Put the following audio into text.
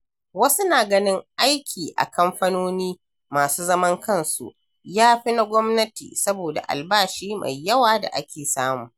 Wasu na ganin aiki a kamfanoni masu zaman kansu ya fi na gwamnati saboda albashi mai yawa da ake samu.